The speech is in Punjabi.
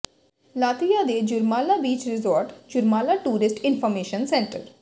ਲਾਤਵੀਆ ਦੇ Jurmala beach resort Jurmala tourist information centre